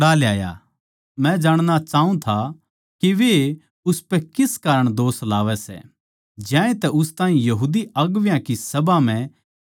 मै जाणणा चाऊँ था के वे उसपै किस कारण दोष लावै सै ज्यांतै उस ताहीं उनकी बड्डी सभा म्ह ले गया